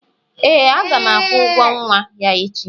ee, a ga m akwụ ụgwọ nwa ya echi